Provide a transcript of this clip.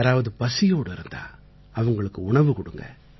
யாராவது பசியோட இருந்தாஅவங்களுக்கு உணவு கொடுங்க